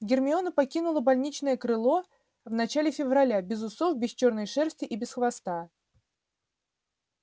гермиона покинула больничное крыло в начале февраля без усов без чёрной шерсти и без хвоста